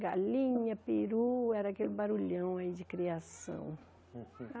Galinha, peru, era aquele barulhão aí de criação.